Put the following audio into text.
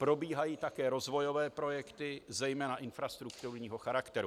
Probíhají také rozvojové projekty, zejména infrastrukturního charakteru.